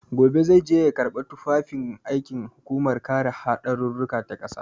Gobe zai je ya karɓi tufafin aikin hukumar kare haɗarurruka ta ƙasa.